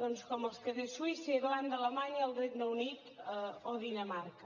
doncs com els que tenen suïssa irlanda alemanya el regne unit o dinamarca